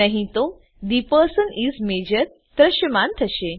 નહી તો the person is major દ્રશ્યમાન થશે